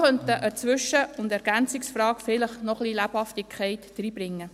Eine Zwischen- und eine Ergänzungsfrage können so vielleicht noch etwas Lebhaftigkeit hineinbringen.